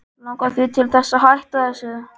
Langar þig til þess að hætta þessu?